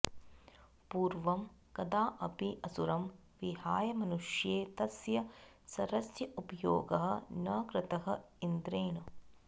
पूर्वं कदाऽपि असुरं विहाय मनुष्ये तस्य शरस्य उपयोगः न कृतः इन्द्रेण